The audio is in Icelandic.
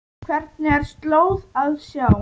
Hvergi er slóð að sjá.